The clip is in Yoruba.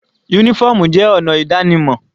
Uniform jẹ́ ọ̀nà ìdánimọ̀